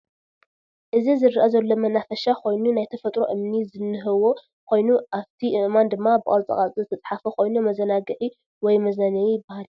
አዚ ዝረአ ዘሎ መናፈሻ ኾይኑ ናይ ተፈጥሮ እምኒ ዝነህዎ ኾይኑ አፊቲ አእማን ድማ ብቅርፃ ቅርፂ ዝተፃሓፈ ኮይኑ መዛናግዕ ወይ መዝናነይ ይበሃል።